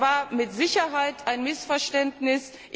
Das war mit Sicherheit ein Missverständnis.